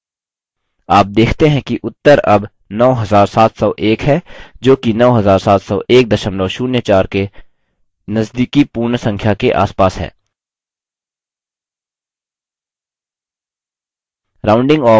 आप देखते हैं कि उत्तर अब 9701 है जोकि 970104 के नजदीकी पूर्ण संख्या के आसपास है